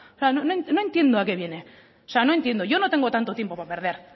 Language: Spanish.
no entiendo a qué viene yo no tengo tanto tiempo para perder